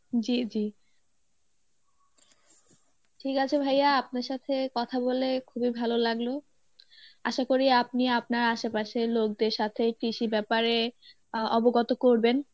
জী জী, ঠিক আছে ভাইয়া আপনার সাথে কথা বলে খুবই ভালো লাগলো আশা করি আপনি আপনার আশেপাশের লোক দের সাথে কৃষি ব্যাপারে অবগত করবেন